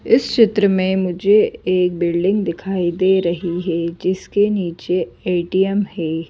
इस चित्र में मुझे एक बिल्डिंग दिखाई दे रही है जिसके नीचे ए_टी_एम है।